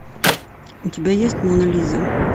у тебя есть мона лиза